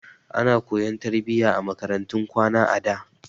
Ana koyan tarbiyya a makarantun kwana a da.